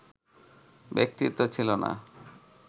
ব্যক্তিত্ব ছিল না